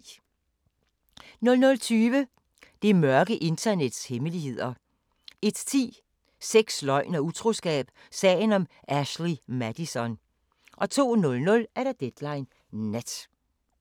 00:20: Det mørke internets hemmeligheder 01:10: Sex, løgn og utroskab – sagen om Ashley Madison 02:00: Deadline Nat